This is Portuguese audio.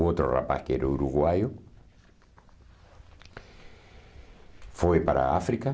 O outro rapaz, que era uruguaio, foi para a África.